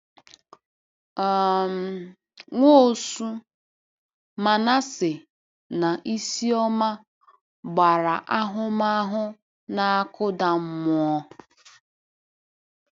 um Nwosu, Manase, na Isioma gbara ahụmahụ na-akụda mmụọ.